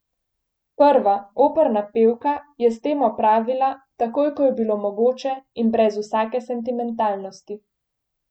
Prva, operna pevka, je s tem opravila, takoj ko je bilo mogoče in brez vsake sentimentalnosti.